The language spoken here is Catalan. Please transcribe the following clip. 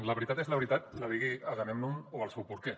la veritat és la veritat la digui agamèmnon o el seu porquer